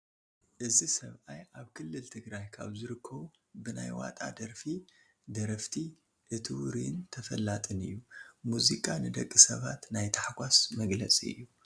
እዚ ሰብኣይ ኣብ ክልል ትግራይ ካብ ዝርከቡ ብናይ ዋጣ ደርፊ ደረፍቲ እቲ ውሩይን ተፈላጥን እዩ፡፡ መዚቃ ንደቂ ሰባት ናይ ታሕጓስ መግለፂ እዩ፡፡